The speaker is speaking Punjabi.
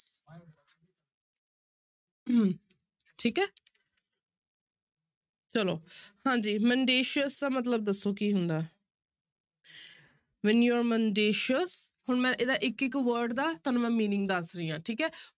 ਹਮ ਠੀਕ ਹੈ ਚਲੋ ਹਾਂਜੀ mendacious ਦਾ ਮਤਲਬ ਦੱਸੋ ਕੀ ਹੁੰਦਾ ਹੈ mendacious ਹੁਣ ਮੈਂ ਇਹਦਾ ਇੱਕ ਇੱਕ word ਦਾ ਤੁਹਾਨੂੰ ਮੈਂ meaning ਦੱਸ ਰਹੀ ਹਾਂ ਠੀਕ ਹੈ